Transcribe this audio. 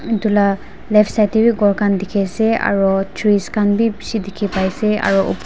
edu la left side tae bi ghor khan dikhiase aro trees kahn bi bishi dikhipaiase aro--